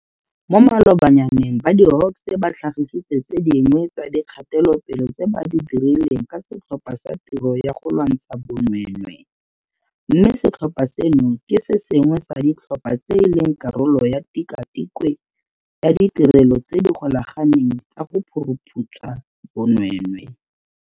Mo malobanyaneng ba di-Hawks ba tlhagisitse tse dingwe tsa dikgatelopele tse ba di dirileng ka Setlhopha sa Tiro ya go Lwantsha Bonweenwee, mme setlhopha seno ke se sengwe sa ditlhopha tse e leng karolo ya Tikwatikwe ya Ditirelo tse di Golaganeng tsa go Phuruphutsha Bonweenwee.